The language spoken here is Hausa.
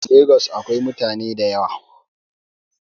Lagos akwai mutane da yawa.